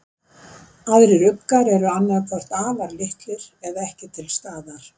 Aðrir uggar eru annað hvort afar litlir eða ekki til staðar.